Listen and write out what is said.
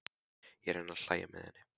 Ég reyni að hlæja með henni.